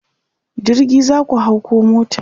jirgi zaku hau koh mota?